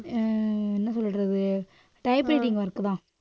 அஹ் என்ன சொல்றது typewriting work தான்.